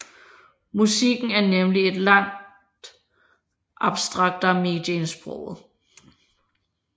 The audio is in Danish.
Musikken er nemlig et langt abstraktere medie end sproget